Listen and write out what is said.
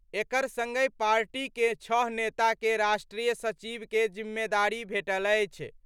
एकर संगहि पार्टी के छह नेता के राष्ट्रीय सचिव के जिम्मेदारी भेटल अछि।